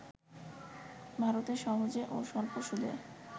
ভারতে সহজে ও স্বল্প সুদে